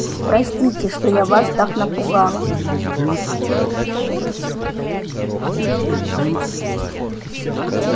простите что я вас так напугала